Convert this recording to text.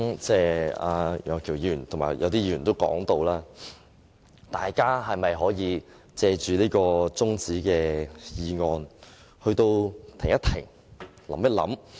正如楊岳橋議員和部分議員所說，大家是否可以藉着中止待續議案停一停，想一想？